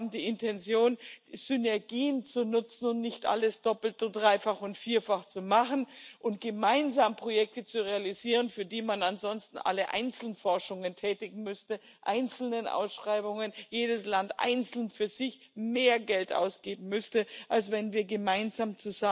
Wir haben die Intention, Synergien zu nutzen und nicht alles doppelt und dreifach und vierfach zu machen, sondern gemeinsam Projekte zu realisieren, für die ansonsten alle einzeln Forschungen betreiben müssten, mit einzelnen Ausschreibungen jedes Land einzeln für sich mehr Geld ausgeben müsste, als wenn wir gemeinsam